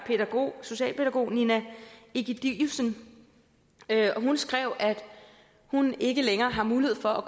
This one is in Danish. socialpædagog nina ægidiussen og hun skrev at hun ikke længere har mulighed for at